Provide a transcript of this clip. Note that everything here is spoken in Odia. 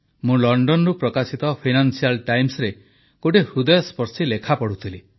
ମୁଁ ଲଣ୍ଡନରୁ ପ୍ରକାଶିତ ଫାଇନାନ୍ସିଆଲ୍ ଟାଇମ୍ସରେ ଗୋଟିଏ ହୃଦୟସ୍ପର୍ଶୀ ଲେଖା ପଢ଼ୁଥିଲି